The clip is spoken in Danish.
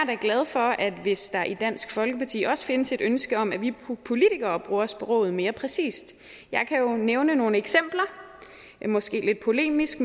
da glad for hvis der i dansk folkeparti også findes et ønske om at vi politikere bruger sproget mere præcist jeg kan jo nævne nogle eksempler måske lidt polemisk